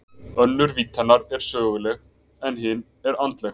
Önnur vídd hennar er söguleg en hin er andleg.